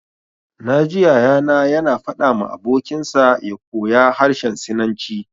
Na ji Yaya na ya na faɗa ma abokin sa ya koya harshen sinanci